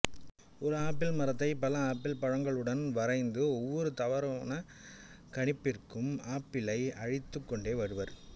ஒரு ஆப்பிள் மரத்தை பல ஆப்பிள் பழங்களுடன் வரைந்து ஒவ்வொரு தவறான கணிப்பிற்கும் ஆப்பிளை அழித்துக் கொண்டே வருவர்